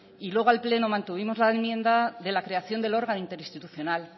y luego al pleno mantuvimos la enmienda de la creación del órgano interinstitucional